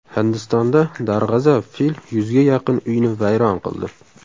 Hindistonda darg‘azab fil yuzga yaqin uyni vayron qildi .